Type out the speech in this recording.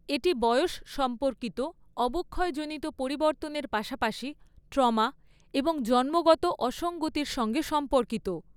এটি বয়স সম্পর্কিত অবক্ষয়জনিত পরিবর্তনের পাশাপাশি ট্রমা এবং জন্মগত অসঙ্গতির সঙ্গে সম্পর্কিত।